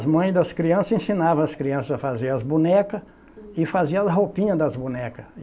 As mães das crianças ensinavam as crianças a fazer as bonecas e faziam as roupinhas das bonecas.